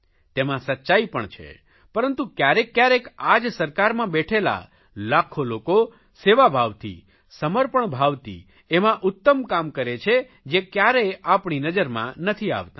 તેમાં સચ્ચાઇ પણ છે પરંતુ ક્યારેક ક્યારેક આ જ સરકારમાં બેઠેલા લાખ્ખો લોકો સેવાભાવથી સમર્પણ ભાવથી એવાં ઉત્તમ કામ કરે છે જે ક્યારેય આપણી નજરમાં નથી આવતાં